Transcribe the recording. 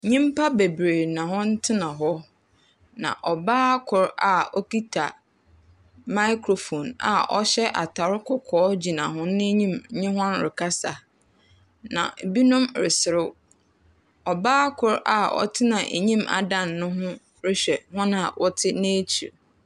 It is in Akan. Nyimpa bebree na wɔtsena hɔ. Na ɔbaa kor a ɔkita microphone a ɔhyɛ atar kɔkɔɔ gyina hɔn enyim nye hɔn rekasa. Na binom resrew. Ɔbaa kor a ɔtsena enyim adan no ho rehwɛ hɔn a wɔtse n'ekyi.